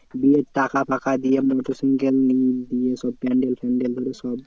বিয়ের টাকা ফাকা দিয়ে মোটর সাইকেল দিয়ে সব প্যান্ডেল ফ্যান্ডেল ধরে সব